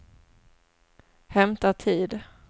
hämta tid